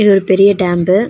இது ஒரு பெரிய டேம்பு .